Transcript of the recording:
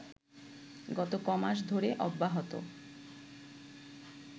গত কমাস ধরে অব্যাহত